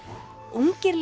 ungir